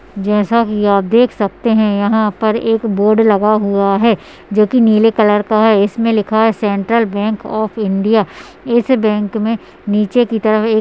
जैसा की आप देख सकते है यहाँ पर एक बोर्ड लगा हुआ है जो की नील कलर का है इस में लिखा है सेंट्रल बैंक ऑफ़ इंडिया है। इस बैंक में नीचे की तरफ एक --